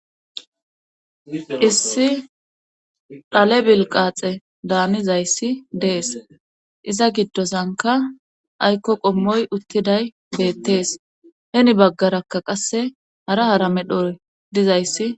Issi dhale bil qaaxe daanizayssi dees iza giddosanka aykko qommoy uttiday beettees heni baggarakka qasse hara hara medhoy dizayssi.